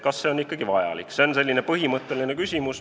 See on selline põhimõtteline küsimus.